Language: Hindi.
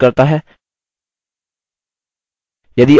यह spoken tutorial को सारांशित करता है